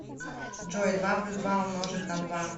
джой два плюс два умножить на два